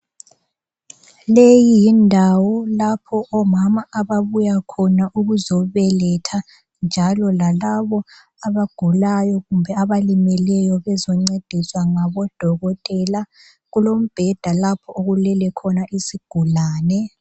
Leyi yindawo lapho omama ababuya khona ukuzobeletha njalo lalabo abagulayo kumbe abalimeleyo bezoncediswa ngabodokotela kulombheda lapho okulele khona isigulane.